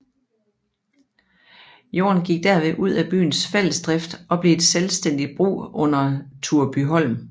Jorden gik derved ud af byens fællesdrift og blev et selvstændigt brug under Turebyholm